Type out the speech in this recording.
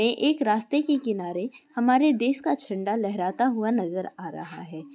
एक रास्ते के किनारे हमारे देश का झंडा लहराता हुआ नजर आ रहा है।